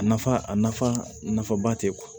A nafa a nafa nafaba tɛ kuwa